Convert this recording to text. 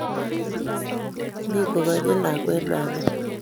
Mi koganyi lakwet mama